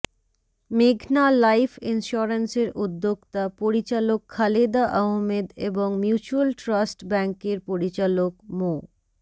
মেঘনা লাইফ ইন্সুরেন্সের উদ্যোক্তা পরিচালক খালেদা আহমেদ এবং মিউচ্যুয়াল ট্রাস্ট ব্যাংকের পরিচালক মো